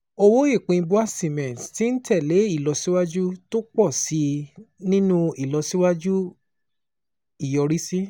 Owó ìpín BUA Cement ti ń tẹ̀ lé ìlọsíwájú tó pọ̀ sí i nínú ìlọsíwájú ìyọrísí,